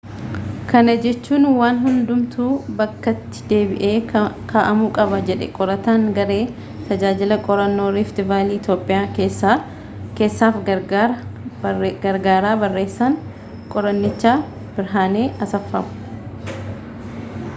kana jechuun waan hundumtuu bakkatti deebi'ee ka'amuu qaba jedhe qorataan garee tajaajila qorannoo riift vaalii itoophiyaa keessaa fi gargaaraa barreessaan qorannichaa birhaanee asfwaaw